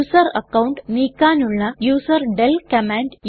user account നീക്കാനുള്ള userdel command